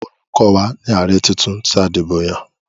Olukọ́ wa ni ààrẹ titun tí a dìbò yàn.